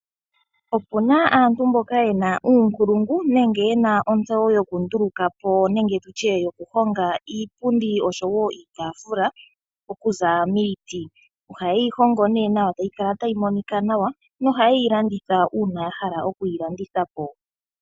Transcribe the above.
Opuna aantu yamwe yena uunongo woku honga iipundi niitafula okuza miiti , ohayeyi hongo née nawa niihongomwa ndhjika oha ye yi landitha po uuna yahala okwiilandithapo.